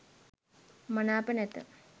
මනාප නැත